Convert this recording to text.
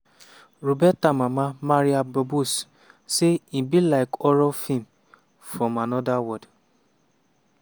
roberta mama maria barbos say "e be like horror feem from anoda world.